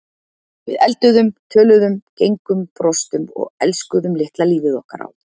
Við elduðum, töluðum, gengum, brostum og elskuðum litla lífið okkar á